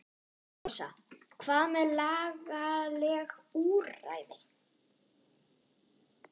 Rósa: Hvað með lagaleg úrræði?